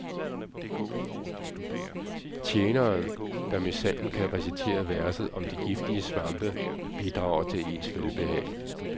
Tjeneren, der minsandten kan recitere verset om de giftige svampe, bidrager til ens velbehag.